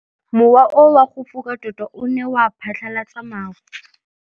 Mowa o wa go foka tota o ne wa phatlalatsa maru.